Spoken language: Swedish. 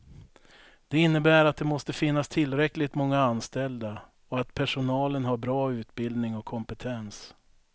Det innebär att det måste finnas tillräckligt många anställda och att personalen har bra utbildning och kompetens.